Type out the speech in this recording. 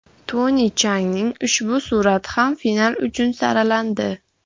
Toni Chjangning ushbu surati ham final uchun saralandi.